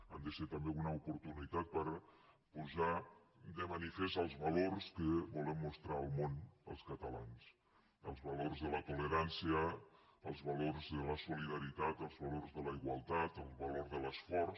han de ser també una oportunitat per posar de manifest els valors que volem mostrar al món els catalans el valor de la tolerància el valor de la solidaritat el valor de la igualtat el valor de l’esforç